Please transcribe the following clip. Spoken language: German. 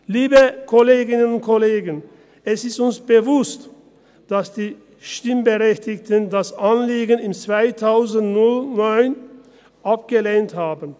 Liebe Kolleginnen und Kollegen, es ist uns bewusst, dass die Stimmberechtigten das Anliegen im 2009 abgelehnt haben.